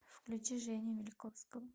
включи женю мильковского